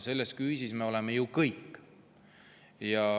Selle küüsis me oleme ju kõik.